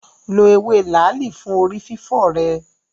Lo ewé làálì fún orí fífọ́ rẹ.